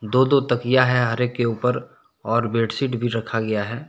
दो-दो तकिया है हर एक के ऊपर और बेडशीट भी रखा गया है।